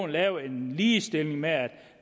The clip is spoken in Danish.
lavet en ligestilling med at